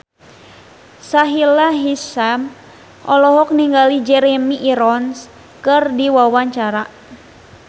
Sahila Hisyam olohok ningali Jeremy Irons keur diwawancara